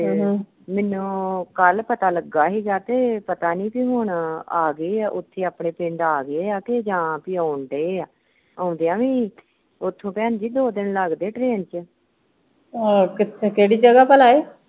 ਆ ਕਿਥੇ ਕਿਹੜੀ ਜਗ੍ਹਾ ਭਲਾ ਏ?